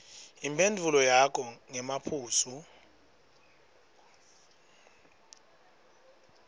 imphendvulo yakho ngemaphuzu